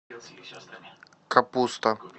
капуста